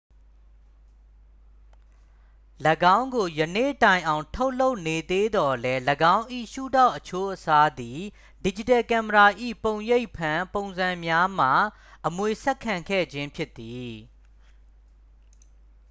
၎င်းကို ယနေ့တိုင်အောင် ထုတ်လုပ်နေသေးသော်လည်း ၎င်း၏ ရှုထောင့်အချိုးအစားသည် ဒစ်ဂျစ်တယ်ကင်မရာ၏ ပုံရိပ်ဖမ်း ပုံံစံများမှ အမွေဆက်ခံခဲ့ခြင်းဖြစ်သည်